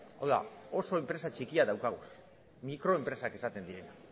hau da oso enpresa txikiak dauzkagu mikroenpresak esaten direnak